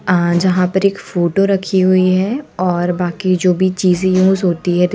आ जहां पर एक फोटो रखी हुई है और बाकी जो भी चीजे यूज होती--